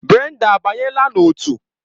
Brenda abanyela na otu?